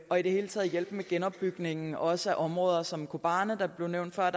og i det hele taget hjælpe med genopbygningen også af områder som kobane der blev nævnt før